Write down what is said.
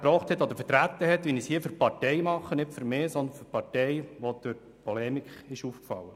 Ich bin bisher sicher nicht durch Polemik aufgefallen.